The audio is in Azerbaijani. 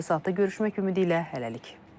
Növbəti saatda görüşmək ümidi ilə, hələlik.